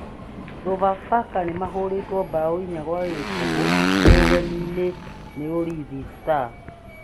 Sofapaka nĩmahũrĩtwo mbaũ inya kwa gibũgũ me ugeni-inĩ nĩ Ulinzi Stars.